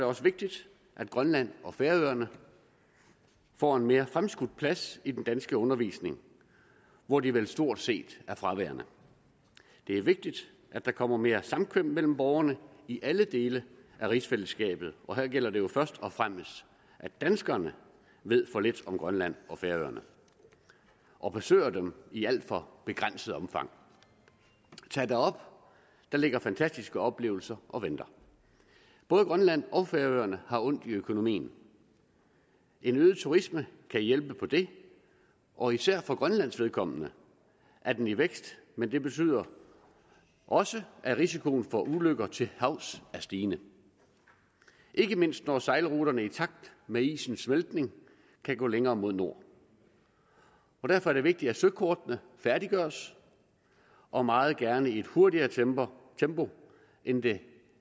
også vigtigt at grønland og færøerne får en mere fremskudt plads i den danske undervisning hvor de vel stort set er fraværende det er vigtigt at der kommer mere samkvem mellem borgerne i alle dele af rigsfællesskabet og her gælder det jo først og fremmest at danskerne ved for lidt om grønland og færøerne og besøger dem i alt for begrænset omfang tag derop der ligger fantastiske oplevelser og venter både grønland og færøerne har ondt i økonomien en øget turisme kan hjælpe på det og især for grønlands vedkommende er den i vækst men det betyder også at risikoen for ulykker til havs er stigende ikke mindst når sejlruterne i takt med isens smeltning kan gå længere mod nord derfor er det vigtigt at søkortene færdiggøres og meget gerne i et hurtigere tempo tempo end det